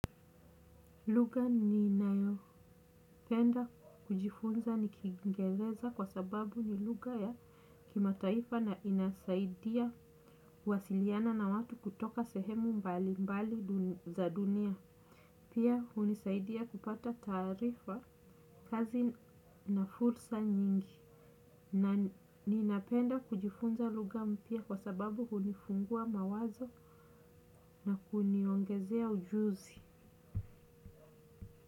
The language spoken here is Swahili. Lugha ninayopenda kujifunza ni Kiingereza kwa sababu ni lugha ya kimataifa na inasaidia kuwasiliana na watu kutoka sehemu mbalimbali za dunia. Pia hunisaidia kupata taarifa, kazi na fursa nyingi. Ninapenda kujifunza lugha mpya kwa sababu hunifungua mawazo na kuniongezea ujuzi.